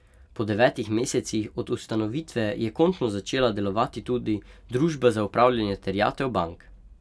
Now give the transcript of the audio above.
Po devetih mesecih od ustanovitve je končno začela delovati tudi Družba za upravljanje terjatev bank.